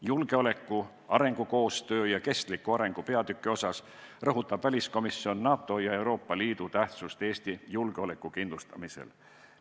Julgeoleku, arengukoostöö ja kestliku arengu peatüki puhul rõhutab väliskomisjon NATO ja Euroopa Liidu tähtsust Eesti julgeoleku kindlustamisel.